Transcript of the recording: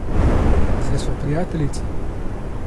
Saj sva prijateljici.